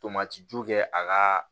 Tomati ju kɛ a ka